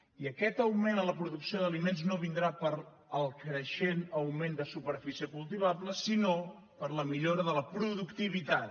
i aquest augment en la producció d’aliments no vindrà pel creixent augment de superfície cultivable sinó per la millora de la productivitat